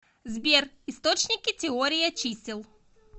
сбер источники теория чисел